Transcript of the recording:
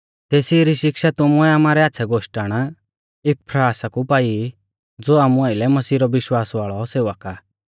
तेसी री शिक्षा तुमुऐ आमारै आच़्छ़ै गोष्टण इपफ्रास कु पाई ज़ो आमु आइलै मसीह रौ विश्वास वाल़ौ सेवक आ